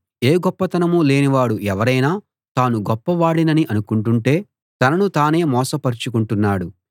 ఏ గొప్పతనం లేనివాడు ఎవరైనా తాను గొప్పవాడినని అనుకుంటుంటే తనను తానే మోసపరచుకుంటున్నాడు